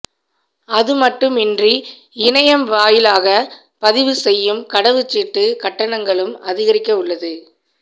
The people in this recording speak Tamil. அதுமட்டுமின்றி இணையம் வாயிலாக பதிவு செய்யும் கடவுச்சீட்டு கட்டணங்களும் அதிகரிக்க உள்ளது